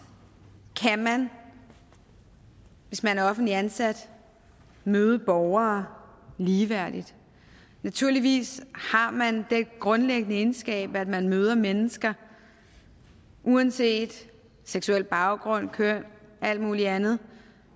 kan man hvis man er offentligt ansat møde borgere ligeværdigt naturligvis har man den grundlæggende egenskab at man møder mennesker uanset seksuel baggrund køn alt mulig andet